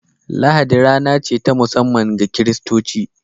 Lahadi rana ce ta musamman ga kiristaci